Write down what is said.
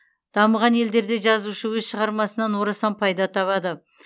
дамыған елдерде жазушы өз шығармасынан орасан пайда табады